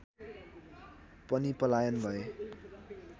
पनि पलायन भए